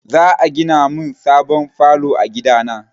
Za a gina min sabon falo a gida na.